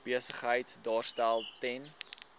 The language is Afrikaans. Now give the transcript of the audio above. besigheid daarstel ten